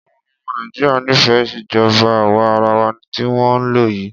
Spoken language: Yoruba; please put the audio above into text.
Àwọn ọmọ Nàìjíríà nífẹẹ ìjọba àwa arawa tí wọ́n ń lò yìí.